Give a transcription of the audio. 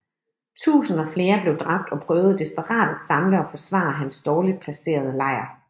Tusinder flere blev dræbt og prøvede desperat at samle og forsvare hans dårligt placerede lejr